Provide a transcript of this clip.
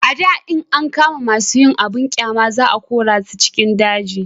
a da in an kama masu yin abun ƙyama za a kore su cikin daji